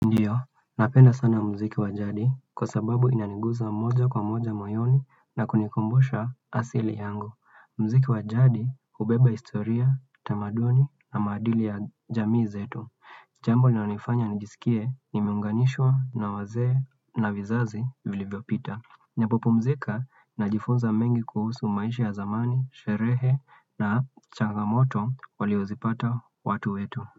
Hiyo, napenda sana mziki wa jadi kwa sababu inaniguza moja kwa moja moyoni na kunikumbusha asili yangu. Mziki wajadi ubeba historia, tamaduni na madili ya jamii zetu. Jambo linalo nifanya nijisikie nimeunganishwa na waze na vizazi vilivio pita. Napopumzika najifunza mengi kuhusu maishi ya zamani, sherehe na changamoto waliozipata watu wetu.